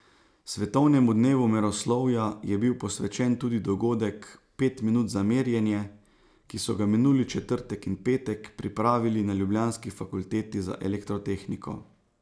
Svetovnemu dnevu meroslovja je bil posvečen tudi dogodek Pet minut za merjenje, ki so ga minuli četrtek in petek pripravili na ljubljanski fakulteti za elektrotehniko.